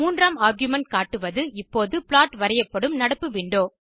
மூன்றாம் ஆர்குமென்ட் காட்டுவது இப்போது ப்ளாட் வரையப்படும் நடப்பு விண்டோ